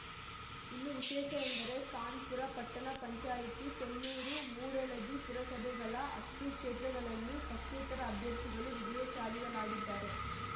ಇನ್ನೂ ವಿಶೇಷ ಎಂದರೆ ಖಾನ್ ಪುರ ಪಟ್ಟಣ ಪಂಚಾಯ್ತಿ ಕೊಣ್ಣೂರ ಮೂಡಲಗಿ ಪುರಸಭೆಗಳ ಅಷ್ಟೂಕ್ಷೇತ್ರಗಳಲ್ಲಿ ಪಕ್ಷೇತರ ಅಭ್ಯರ್ಥಿಗಳು ವಿಜಯಶಾಲಿಗಳಾಗಿದ್ದಾರೆ